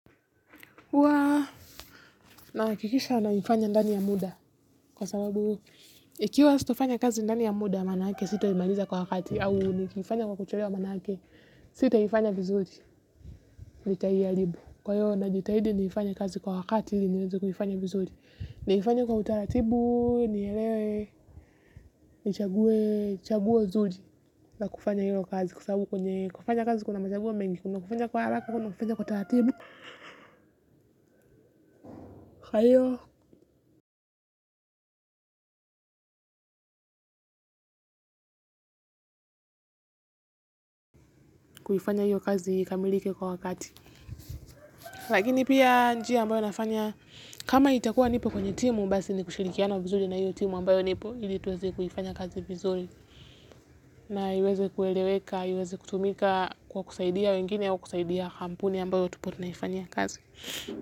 Nahakikisha naifanya ndani ya muda kwa sababu ikiwa sitofanya kazi ndani ya muda maana yake sitoimaliza kwa wakati au nikifanya kwa kuchelewa mana hake sitaifanya vizuri. Lita hiyaribu kwa hiyo na jitaidi niifanya kazi kwa wakati niwezu kuyifanya vizuri. Niifanya kwa utaratibu niyelewe nichaguwe chaguo nzuri la kufanya hiyo kazi, kwa sababu kwenye kufanya kazi kuna machaguo mengi, kuna kufanya kwa haraka. Kuna kufanya kwa taratibu, kwa hiyo kuifanya hiyo kazi ikamilike kwa wakati. Lakini pia njia ambayo nafanya kama nitakuwa nipo kwenye timu hasi ni kushirikiana vizuri na hiyo timu ambayo nipo ili tuweze kuifanya kazi vizuri na iweze kueleweka iweze kutumika kwa kusaidia wengine au kampuni tunayoifanyia kazi.